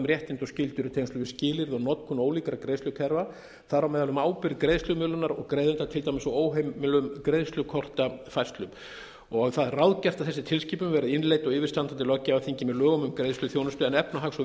réttindi og skyldur í tengslum við skilyrði og notkun ólíkra greiðslukerfa þar á meðal um ábyrgð greiðslumiðlunar og greiðenda til dæmis á óheimilum greiðslukortafærslum það er ráðgert að þessi tilskipun verði innleidd á yfirstandandi löggjafarþingi með lögum um greiðsluþjónustu en efnahags og